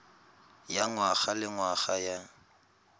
ya ngwaga le ngwaga ya